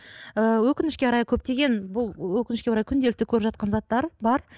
ыыы өкінішке орай көптеген бұл өкінішке орай күнделікті көріп жатқан заттар бар